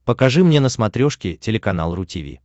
покажи мне на смотрешке телеканал ру ти ви